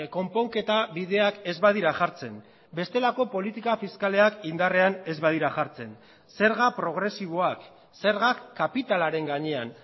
konponketa bideak ez badira jartzen bestelako politika fiskalak indarrean ez badira jartzen zerga progresiboak zergak kapitalaren gainean